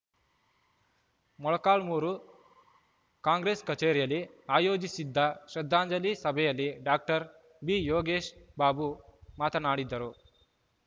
ಮೊಳಕಾಲ್ಮುರು ಕಾಂಗ್ರೆಸ್‌ ಕಚೇರಿಯಲ್ಲಿ ಆಯೋಜಿಸಿದ್ದ ಶ್ರದ್ಧಾಂಜಲಿ ಸಭೆಯಲ್ಲಿ ಡಾಕ್ಟರ್ ಬಿಯೋಗೇಶ ಬಾಬು ಮಾತನಾಡಿದರು